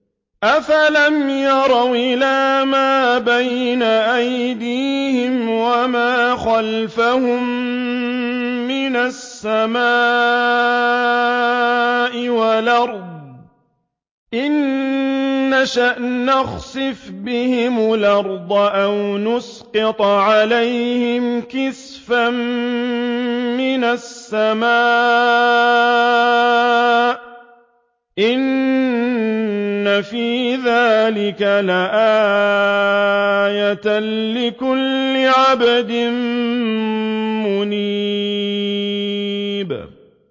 أَفَلَمْ يَرَوْا إِلَىٰ مَا بَيْنَ أَيْدِيهِمْ وَمَا خَلْفَهُم مِّنَ السَّمَاءِ وَالْأَرْضِ ۚ إِن نَّشَأْ نَخْسِفْ بِهِمُ الْأَرْضَ أَوْ نُسْقِطْ عَلَيْهِمْ كِسَفًا مِّنَ السَّمَاءِ ۚ إِنَّ فِي ذَٰلِكَ لَآيَةً لِّكُلِّ عَبْدٍ مُّنِيبٍ